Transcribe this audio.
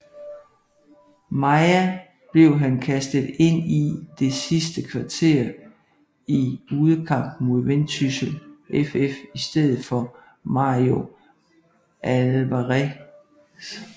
Maia blev han kastet ind i det sidste kvarter i udekampen mod Vendsyssel FF i stedet for Mario Alvarez